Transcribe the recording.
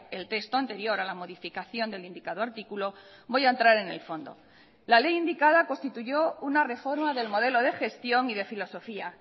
el texto anterior a la modificación del indicado artículo voy a entrar en el fondo la ley indicada constituyó una reforma del modelo de gestión y de filosofía